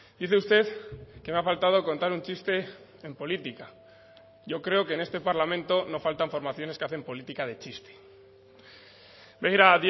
dice usted que me ha faltado contar un chiste en política yo creo que en este parlamento no faltan formaciones que hacen política de chiste begira